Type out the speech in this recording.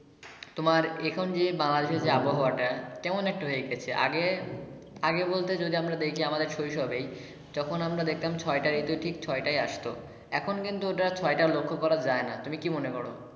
তোমার এখন যে বাংলাদেশের আবহাওয়া টা কেমন একটা হয়ে গেছে আগে আগে বলতে যদি আমরা দেখি আমাদের শৈশবেই যখন আমরা দেখতাম ছয়টা ঋতু ঠিক ছয় টায় আসতো এখন কিন্তু ঐটা আর ছয়টা লক্ষ করা যাই না তুমি কি মনে করো?